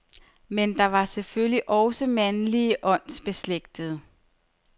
Men der var selvfølgelig også mandlige åndsbeslægtede.